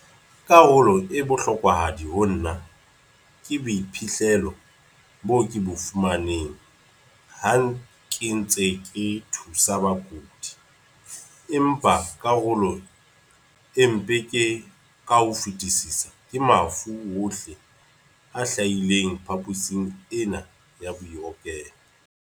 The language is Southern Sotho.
"Karolo e bohlokwahadi ho nna ke boiphihlelo bo ke bo fumaneng ha ke ntse ke thusa bakudi, empa karolo e mpe ka ho fetisisa ke mafu ohle a hlahileng phaposing ena ya bookelo."